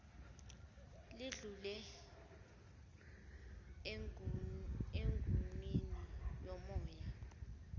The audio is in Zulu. lidlule emguwnini womoya